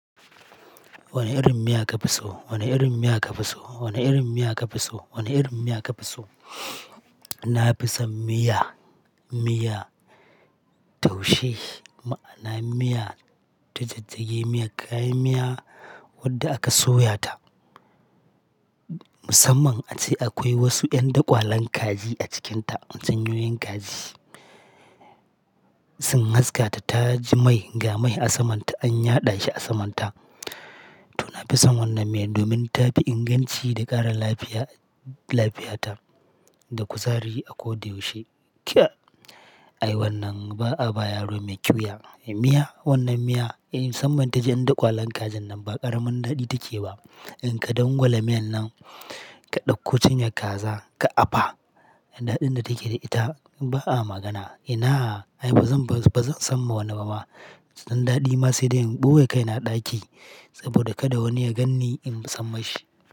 Wane irin miya ka fi so? Wane irin miya ka fi so? Wane irin miya ka fi so? Wane irin miya ka fi so? Na fi son miya, miya taushe. Ma'ana miya ta jajjaje, miyar kayan miya wadda aka soya ta. Musamman a ce akwai wasu ƴan daƙwalen kaji a cikinta. An sayo yan kaji, sun haska ta, ta ji mai, ga mai a saman ta, an yaɗa shi a saman ta. To na fi son wannan miya domin ta fi inganci da ƙara lafiya, lafiyata da kuzari akoda yaushe. Kya! Ai wannan ba a ba yaro mai ƙyuya. Miya? Wannan miya? Eh musamman ta ji ƴan daƙwalen kajin nan ba ƙaramin daɗi take ba. In ka dangwala miyan nan, ka ɗauko cinyar kaza ka apa, daɗin da take da ita ba a magana. Ina? Ai ba zan, ba zan sa ma wani ba ma. Dan daɗi ma sai da in ɓoye kaina a ɗaki saboda kada wani ya gan ni in samma shi.